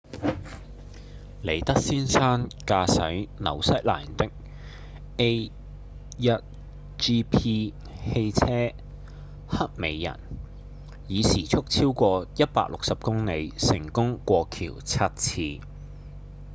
里德先生駕駛紐西蘭的 a1gp 汽車「黑美人」以時速超過160公里成功過橋七次